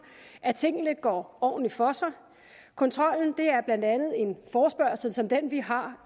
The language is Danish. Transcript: at tingene går ordentligt for sig kontrollen er blandt andet en forespørgsel som den vi har